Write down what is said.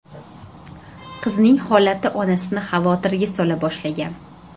Qizning holati onasini xavotirga sola boshlagan.